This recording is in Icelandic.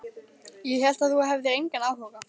Ég hélt að þú hefðir engan áhuga.